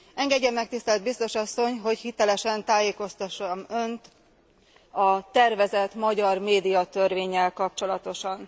Engedje meg tisztelt biztos asszony, hogy hitelesen tájékoztassam önt a tervezett magyar médiatörvénnyel kapcsolatosan.